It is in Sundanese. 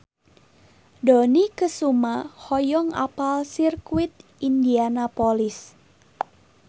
Dony Kesuma hoyong apal Sirkuit Indianapolis